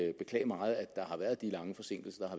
at beklage meget at der har været de lange forsinkelser